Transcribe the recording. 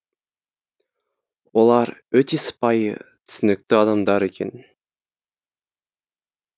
олар өте сыпайы түсінікті адамдар екен